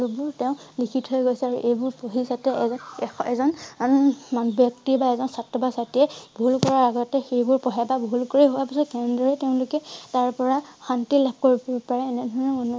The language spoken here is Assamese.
সকলোবোৰ লিখি থৈ গৈছে আৰু এইবোৰ পঢ়ি যাতে এ~এ~এজন ব্যক্তি বা এজন ছাত্ৰ বা ছাত্ৰীৰ এ ভূল কৰা আগতে সেইবোৰ পঢ়ে বা ভুল কৰি হোৱা পিছত কেনেদৰে তেওঁলোকে তাৰ পৰা শান্তি লাভ কৰিব পাৰে এনে ধৰণৰ